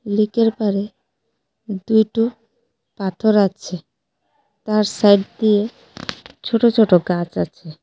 লেকের পারে দুইটো পাথর আচে তার সাইড দিয়ে ছোট ছোট গাছ আচে।